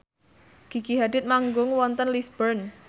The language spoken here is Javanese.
Gigi Hadid manggung wonten Lisburn